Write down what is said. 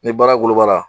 Ni baara woloba la